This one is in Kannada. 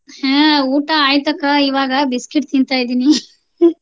ಹಾ ಊಟ ಆಯ್ತಕ್ಕ ಇವಾಗ. biscuit ತಿಂತಾ ಇದಿನಿ .